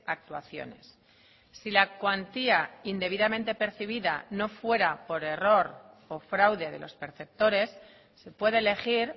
actuaciones si la cuantía indebidamente percibida no fuera por error o fraude de los perceptores se puede elegir